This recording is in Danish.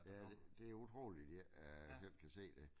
Ja det det utroligt de ikke øh selv kan se det